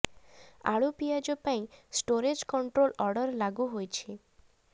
ଆଳୁ ପିଆଜ ପାଇଁ ଷ୍ଟୋରେଜ୍ କଣ୍ଟ୍ରୋଲ ଅର୍ଡର ଲାଗୁ ହୋଇଛି